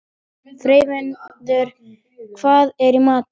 Freyviður, hvað er í matinn?